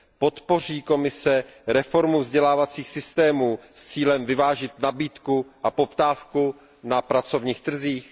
Podpoří Komise reformu vzdělávacích systémů s cílem vyvážit nabídku a poptávku na pracovních trzích?